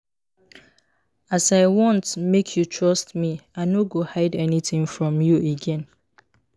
as i want make you trust me i no go hide anytin from you again.